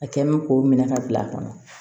A kɛ mɛ k'o minɛ ka bila a kɔnɔ